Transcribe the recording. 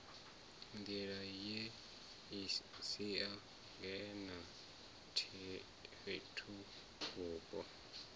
nḓila ye siangane na fhethuvhupo